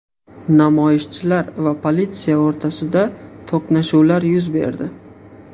Namoyishchilar va politsiya o‘rtasida to‘qnashuvlar yuz berdi.